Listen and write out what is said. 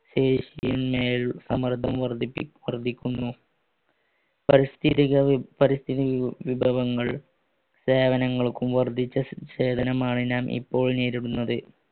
വർദ്ധിക്കുന്നു പരിസ്ഥതിക വിഭവങ്ങൾ സേവനങ്ങൾക്കും വർദ്ധിച്ച സേവനമാണ് നാം ഇപ്പോൾ നേരിടുന്നത്